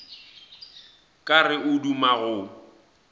ka re o duma go